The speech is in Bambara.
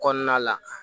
Kɔnɔna la